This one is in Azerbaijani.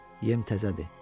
Yem təzədir.